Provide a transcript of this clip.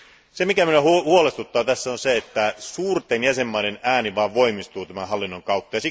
Se, mikä minua huolestuttaa tässä on se, että suurten jäsenvaltioiden ääni vain voimistuu tämän hallinnon kautta.